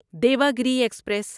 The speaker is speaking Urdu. دیواگری ایکسپریس